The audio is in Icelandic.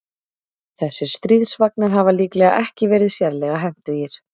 Þessir stríðsvagnar hafa líklega ekki verið sérlega hentugir.